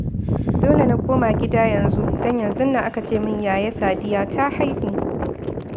Dole na koma gida yanzu, don yanzun nan aka ce min Yaya Sadiya ta haihu